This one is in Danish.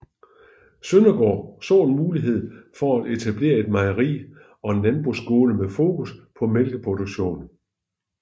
Søndergaard så en mulighed for at etablere et mejeri og en landbrugsskole med fokus på mælkeproduktion